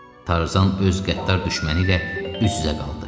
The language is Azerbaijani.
Tarzan öz qəddar düşməni ilə üz-üzə qaldı.